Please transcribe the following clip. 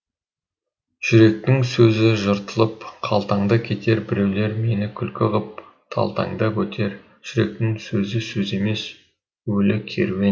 жүректің сөзі жыртылып қалтаңда кетер біреулер мені күлкі ғып талтаңдап өтер жүректің сөзі сөз емес өлі керуен